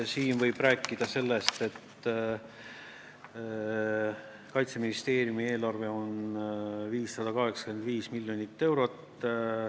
Siin võib rääkida sellest, et Kaitseministeeriumi eelarve on 585 miljonit eurot.